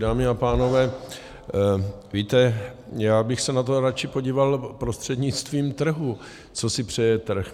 Dámy a pánové, víte, já bych se na to radši podíval prostřednictvím trhu, co si přeje trh.